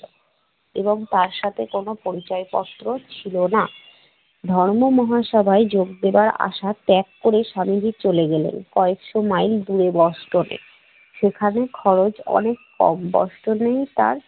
এবং তার সাথে কোন পরিচয়পত্র ছিল না। ধর্ম মহাসভায় যোগ দেওয়ার আশা ত্যাগ করে স্বামীজি চলে গেলেন কয়েকশ মাইল দূরে বোস্টনে। সেখানে খরচ অনেক কম, বোস্টনে তার